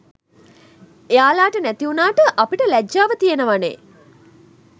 එයාලට නැතිවුණාට අපිට ලැජ්ජාව තියනවනේ!